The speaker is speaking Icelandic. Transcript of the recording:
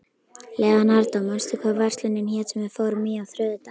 Leonardó, manstu hvað verslunin hét sem við fórum í á þriðjudaginn?